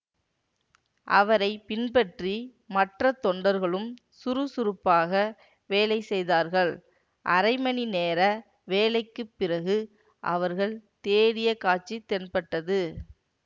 அவரை பின்பற்றி மற்ற தொண்டர்களும் சுறுசுறுப்பாக வேலை செய்தார்கள் அரை மணி நேர வேலைக்கு பிறகு அவர்கள் தேடிய காட்சி தென்பட்டது